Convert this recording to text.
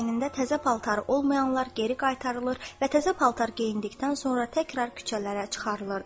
Əynində təzə paltarı olmayanlar geri qaytarılır və təzə paltar geyindikdən sonra təkrar küçələrə çıxarılırdı.